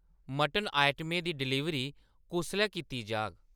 Mutton आइटमें दी deliver कुसलै कीती जाग ?